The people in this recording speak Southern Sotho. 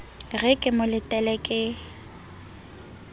re ke mo letele ke